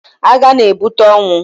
Agha na-ebute ọnwụ.